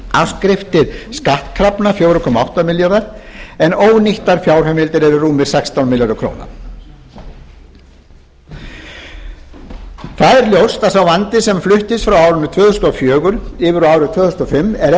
afskriftir skattkrafna fjóra komma átta milljarðar en ónýttar fjárheimildir eru rúmir sextán milljarðar króna það er ljóst að sá vandi sem fluttist frá árinu tvö þúsund og fjögur yfir á árið tvö þúsund og fimm er